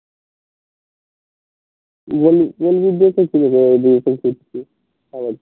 তুই বলবি